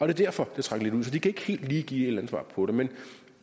er derfor det trækker lidt ud så de kan ikke helt give et eller andet svar på det men